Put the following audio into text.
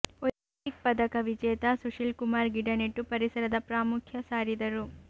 Olympic ಪದಕ ವಿಜೇತ ಸುಶೀಲ್ ಕುಮಾರ್ ಗಿಡ ನೆಟ್ಟು ಪರಿಸರದ ಪ್ರಾಮುಖ್ಯ ಸಾರಿದರು